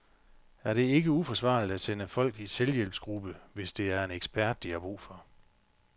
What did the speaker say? Er det ikke uforsvarligt at sende folk i selvhjælpsgruppe, hvis det er en ekspert, de har brug for?